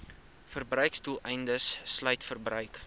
verbruiksdoeleindes sluit verbruik